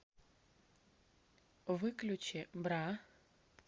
выключи бра